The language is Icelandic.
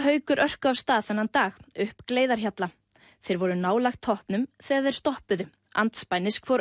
Haukur örkuðu af stað þennan dag upp Gleiðarhjalla þeir voru nálægt toppnum þegar þeir stoppuðu andspænis hvor